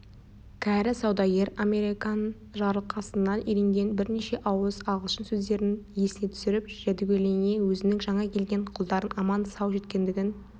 кәрі саудагер американ жарылқасыннан үйренген бірнеше ауыз ағылшын сөздерін есіне түсіріп жәдігөйлене өзінің жаңа келген құлдарының аман-сау жеткендігін